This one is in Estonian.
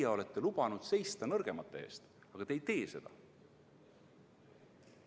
Te olete lubanud seista nõrgemate eest, aga te ei tee seda.